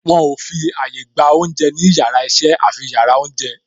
Wọn ò fi àyà gba oúnjẹ ní yàrá iṣẹ́ àfi yàrá oúnjẹ